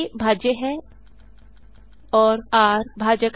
आ भाज्य है और र भाजक है